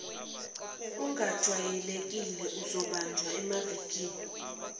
ongajwayelekile ozobanjwa emavikini